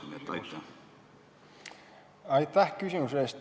Aitäh küsimuse eest!